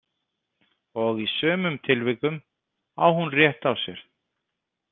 Og í sumum tilvikum á hún rétt á sér.